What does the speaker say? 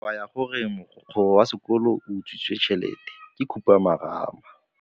Taba ya gore mogokgo wa sekolo o utswitse tšhelete ke khupamarama.